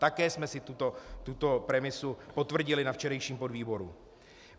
Také jsme si tuto premisu potvrdili na včerejším podvýboru.